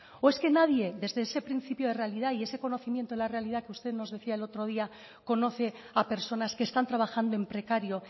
o es que nadie desde ese principio de realidad y ese conocimiento de la realidad que usted nos decía el otro día conoce a personas que están trabajando en precario